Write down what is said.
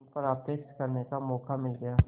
उन पर आक्षेप करने का मौका मिल गया